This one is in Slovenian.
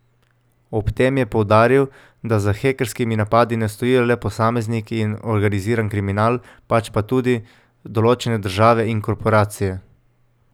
Ob tem je poudaril, da za hekerskimi napadi ne stojijo le posamezniki in organiziran kriminal, pač pa tudi določene države in korporacije.